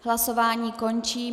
Hlasování končím.